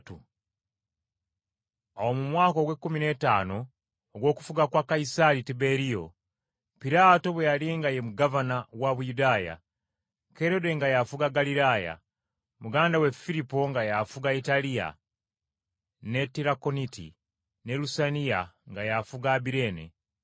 Awo mu mwaka ogw’ekkumi n’ettaano ogw’okufuga kwa Kayisaali Tiberiyo, Pontiyo Piraato bwe yali nga ye gavana wa Buyudaaya, Kerode nga y’afuga Ggaliraaya, muganda we Firipo nga y’afuga Italiya ne Tirakoniti, ne Lusaniya nga y’afuga Abireene,